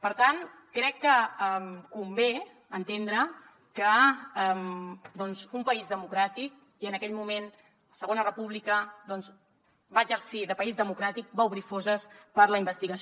per tant crec que convé entendre que en un país democràtic i en aquell moment la segona república doncs va exercir de país democràtic va obrir fosses per a la investigació